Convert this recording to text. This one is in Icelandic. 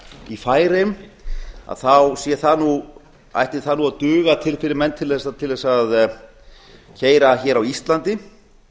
í færeyjum þá sé það nú ætti það nú að duga fyrir menn til þess að keyra hér á íslandi